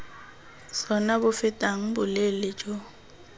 sona bo fetang boleele jo